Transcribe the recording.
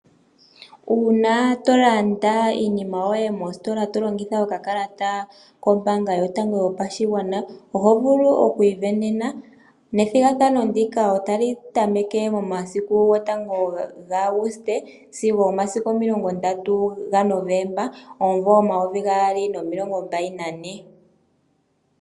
Uuna tolanda iinima yoye mostola, tolongitha okakalata kombaanga yotango yopashigwana, oho vulu okwiivenena. Ethigathano ndino otali tameke momasiku gotango ga Auguste, sigo omasiku omilongo ndatu ga Novemba, omumvo omavi gaali nomilongo mbali nane.